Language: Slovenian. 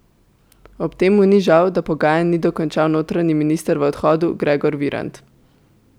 Ob tem mu ni žal, da pogajanj ni dokončal notranji minister v odhodu Gregor Virant.